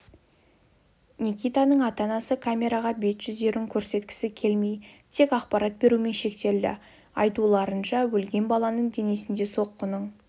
никитаның ата-анасы камераға бет-жүздерін көрсеткісі келмей тек ақпарат берумен шектелді айтуларынша өлген баланың денесінде соққының іздері